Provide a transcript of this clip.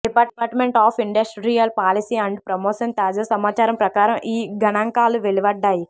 department of Industrial Policy and Promotion తాజా సమాచారం ప్రకారం ఈ గణాంకాలు వెలువడ్డాయి